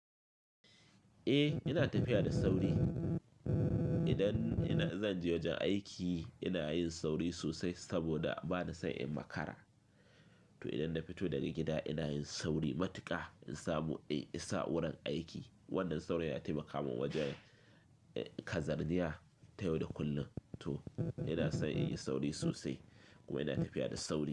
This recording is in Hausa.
Eh ina tafiya da sauri. Idan ina, zan je wajen aiki ina yin sauri sosai saboda bana son in makara. To idan na fito daga gida ina yin sauri matuƙa in samu, in isa wurin aiki. Wannan saurin yana taimaka mun wajen, eh, kazarniya tayau da kullum. To ina son in yi sauri sosai kuma ina tafiya da sauri.